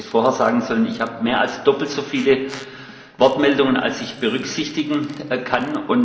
Ich hätte es vielleicht vorher sagen sollen Ich habe mehr als doppelt so viele Wortmeldungen, wie ich berücksichtigen kann.